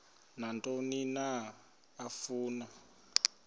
nantoni na afuna